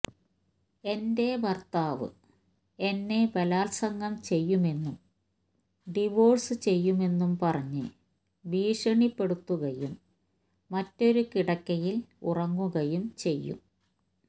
എന്റെ ഭര്ത്താവ് എന്നെ ബലാല്സംഗം ചെയ്യുമെന്നും ഡിവോഴ്സ് ചെയ്യുമെന്നും പറഞ്ഞ് ഭീഷണിപ്പെടുത്തുകയും മറ്റൊരു കിടക്കയില് ഉറങ്ങുകയും ചെയ്യും